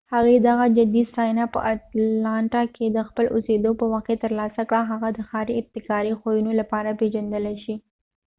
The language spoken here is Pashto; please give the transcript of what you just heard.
هغې دغه جدي ستاینه په اټلانټا کې د خپل اوسیدو په وخت کې تر لاسه کړه هغه د ښاری ابتکاري ښوونی لپاره پیژندلی شي